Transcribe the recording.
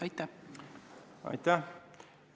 Aitäh!